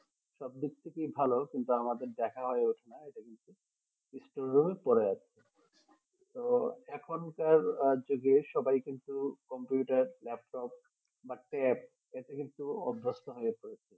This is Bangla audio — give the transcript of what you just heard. সব দিক থেকেই ভালো কিন্তু আমাদের দেখা হয়ে ওঠে না এটা কিন্তু store room এ পরে আছে তো এখনকার যুগে সবাই কিন্তু computer laptop বা tap এতে কিন্তু অভস্থ হয়ে পড়েছে